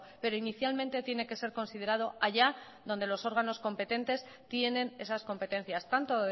pero inicialmente tiene que ser considerado allá donde los órganos competentes tienen esas competencias tanto